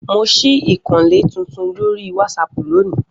Mo ṣí ìkànnlé titun lórí wásápù lónìí